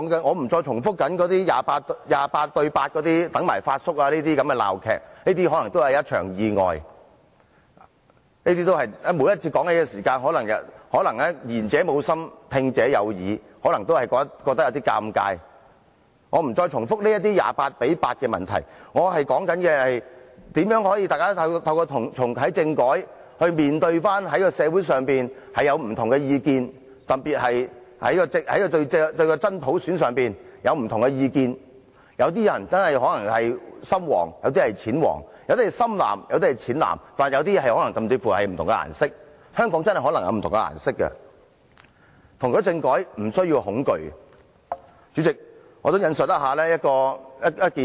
我不再重複 "28：8"、"等埋發叔"等鬧劇，這些可能只是一場意外，每次談起，可能言者無心，但聽者有意，可能會感到尷尬，我不會重複 "28：8" 等問題，我想說的是，大家應如何透過重啟政改來面對社會上的不同意見，特別是對真普選的不同意見，有些人可能真的是"深黃"、有些人是"淺黃"、有些人是"深藍"、有些人是"淺藍"，甚至是不同的顏色，香港真的可能有不同顏色的政治取向，我們不須恐懼重啟政改。